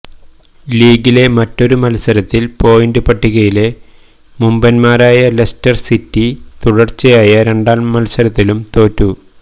ലീഗിലെ മറ്റൊരു മത്സരത്തിൽ പോയിന്റ് പട്ടികയിലെ മുമ്പൻമാരായ ലെസ്റ്റർ സിറ്റി തുടർച്ചയായ രണ്ടാം മത്സരത്തിലും തോറ്റു